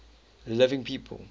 living people